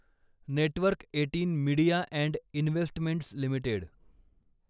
network eighteen media and investments limited